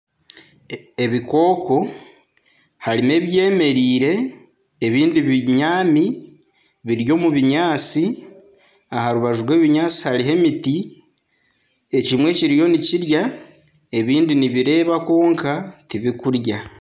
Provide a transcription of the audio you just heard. Ebikooko harimu ebyemereire ebindi binyami biri omu binyaatsi, aha rubaju rw'ebinyaatsi hariho emiti. Ekimwe kiriyo nikirya, ebindi nibireeba kwonka tibikurya.